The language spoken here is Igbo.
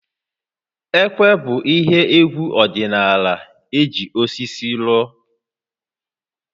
Ekwe bụ ihe égwú ọdịnaala eji osisi rụọ